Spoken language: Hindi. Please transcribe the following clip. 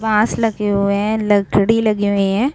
घास लगे हुए हैं लकड़ी लगी हुई हैं।